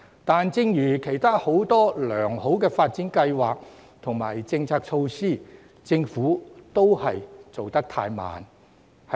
然而，正如其他很多良好的發展計劃及政策措施，政府都做得太慢。